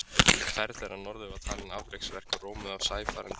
Ferð þeirra norður var talin afreksverk og rómuð af sæfarendum.